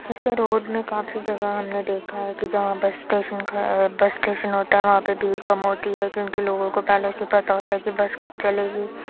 हेसे road में काफी जगह हमने देखा है कि जहाँ बस स्टेशन ख बस स्टेशन होता है वहाँ पे भीड़ कम होती है क्योंकि लोगों को पहले से ही पता होता है कि बस कब चलेगी।